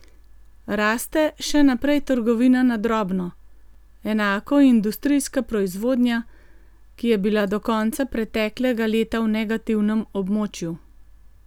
Raste še naprej trgovina na drobno, enako industrijska proizvodnja, ki je bila do konca preteklega leta v negativnem območju.